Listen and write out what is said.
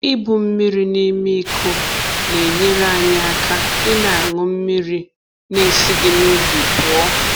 Ibu mmiri n’ime iko na-enyere anyị aka ịna aṅụ mmiri n'esighi n’ubi pụọ